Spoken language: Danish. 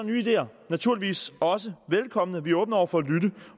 nye ideer naturligvis også velkomne vi er åbne over for